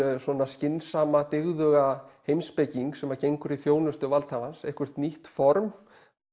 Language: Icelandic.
skynsama dyggðuga heimspeking sem gengur í þjónustu valdhafans eitthvert nýtt form